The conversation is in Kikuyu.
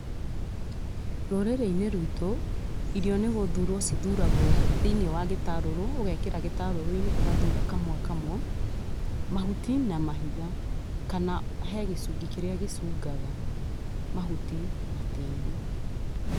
Rurĩrĩinĩ rwitũ irio nĩ guthurwo cithuragwo thĩinĩ wa gĩtarũrũ ũgekĩra gĩtarũrũinĩ ũgathura kamwe kamwe mahuti na mahiga kana he gĩcungi kĩrĩa gĩcungaga mahuti na tĩĩri.